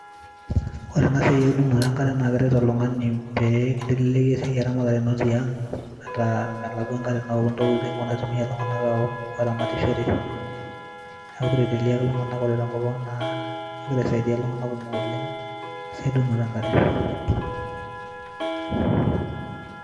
ore ena siai eudunoto enkare na keret oltungani, pee elelek esai eramatare ino tiang, meeta melakua enkare naok intokitin wenaitumia iltungana aok oramatishore, niaku kiteleleliaki iltungana ore tenkop ang na kengira aisaidia iltungana kumok oleng esiai neudunoto enkare.